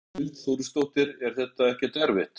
Hrund Þórsdóttir: Er þetta ekkert erfitt?